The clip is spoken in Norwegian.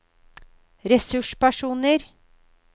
ressurspersoner